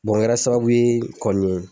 o kɛra sababu ye kɔni